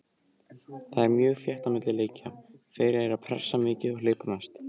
Það er mjög þétt á milli leikja, þeir eru pressa mikið og hlaupa mest.